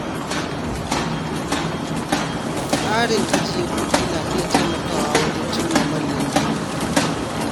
Tsarin ajiye kuɗi na iya taimakawa wajen cimma manyan burika.